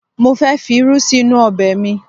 Mo ń fẹ fi irú sí inú ọbẹ̀ mi